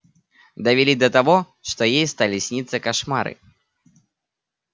довели до того что ей стали сниться кошмары